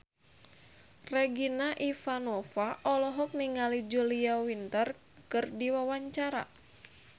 Regina Ivanova olohok ningali Julia Winter keur diwawancara